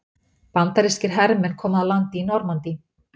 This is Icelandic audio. Bandarískir hermenn koma að landi í Normandí.